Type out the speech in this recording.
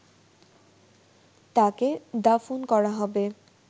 তাকে দাফন করা হবে